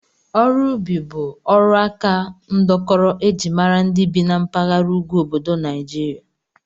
Ọrụ ubi bụ ọrụaka ndọkọrọ e ji mara ndị bi na mpaghara ugwu obodo Naijiria